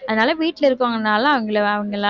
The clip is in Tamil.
அதனால வீட்டில இருக்குறவங்கனால அவங்கள அவங்களால